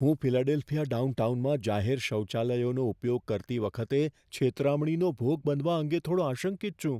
હું ફિલાડેલ્ફિયા ડાઉનટાઉનમાં જાહેર શૌચાલયોનો ઉપયોગ કરતી વખતે છેતરામણીનો ભોગ બનવા અંગે થોડો આશંકિત છું.